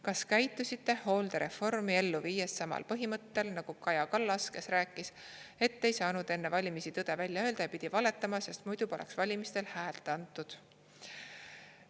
Kas käitusite hooldereformi ellu viies samal põhimõttel nagu Kaja Kallas, kes rääkis, et ei saanud enne valimisi tõde välja öelda ja pidi valetama, sest muidu poleks valimistel häält antud?